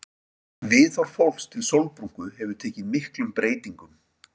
Viðhorf fólks til sólbrúnku hefur tekið miklum breytingum.